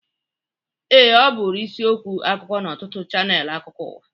Ee, ọ bụrụ isiokwu akụkọ n'ọtụtụ chanel akụkụ ụwa.